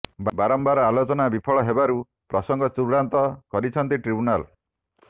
ବାରମ୍ବାର ଆଲୋଚନା ବିଫଳ ହେବାରୁ ପ୍ରସଙ୍ଗ ଚୂଡାନ୍ତ କରିଛନ୍ତି ଟ୍ରିବ୍ୟୁନାଲ